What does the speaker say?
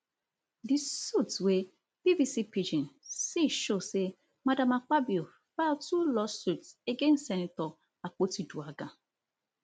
di suit wey bbc pidgin see show say madam akpabio file two lawsuits against senator akpotiuduaghan